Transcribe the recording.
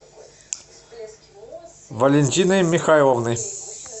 валентиной михайловной